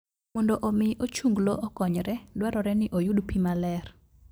Mondo omi ochunglo okonyre, dwarore ni oyud pi maler.